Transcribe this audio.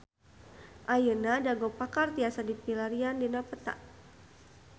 Ayeuna Dago Pakar tiasa dipilarian dina peta